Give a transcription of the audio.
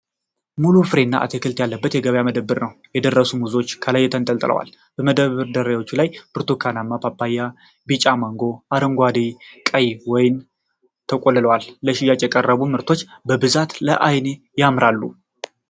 ሙሉ ፍሬና አትክልት ያለበት የገበያ መደብር ነው። የደረሱ ሙዞች ከላይ ተንጠልጥለዋል። በመደርደሪያዎቹ ላይ ብርቱካንማ ፓፓያ፣ ቢጫ ማንጎ፣ አረንጓዴና ቀይ ወይን ተቆልሏል። ለሽያጭ የቀረቡት ምርቶች በብዛት ለዓይን ያምራሉ።